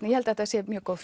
ég held að þetta sé mjög góð